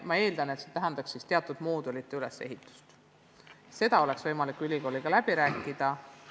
Ma eeldan, et vaja on teatud moodulite ülesehitust, ja seda peab olema võimalik ülikooliga läbi rääkida.